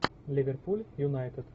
ливерпуль юнайтед